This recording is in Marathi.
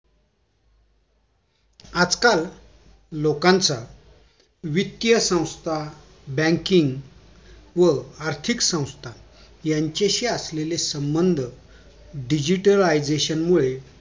आजकाल लोकांचा वित्तीय संस्था banking व आर्थिक संस्था यांचाशि असलेला संबन्ध digitalization मुळे